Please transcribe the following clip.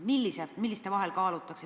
Mille vahel kaalutakse?